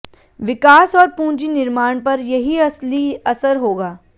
विकास और पूंजी निर्माण पर यही असली असर होगा